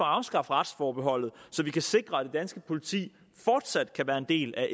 afskaffe retsforbeholdet så vi kan sikre at det danske politi fortsat kan være en del af